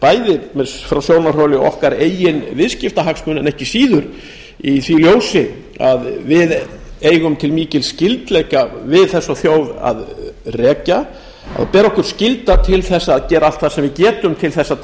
bæði frá sjónarhóli okkar eigin viðskiptahagsmuna en ekki síður í því ljósi að við eigum til mikils skyldleika við þessa þjóð að rekja og ber skylda til þess að gera allt það sem við getum til þess